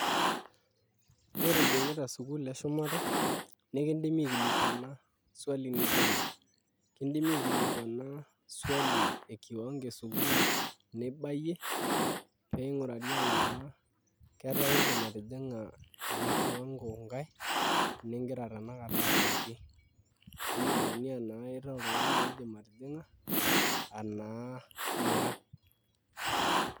Ore ijing'ita sukuul eshumata nikindimi aikilikuana swali nijio ena kindimi aikilikuana swali e kiwango esukuul nibayie pee ing'urari enaa ketaa iindim atijing'a ena kiwango nkae ningira tanakata abaiki pee eyiolouni enaa itaa oltung'ani oidim atijing'a enaa mira.